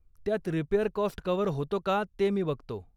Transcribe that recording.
त्यात repair cost cover होतो का ते मी बघतो..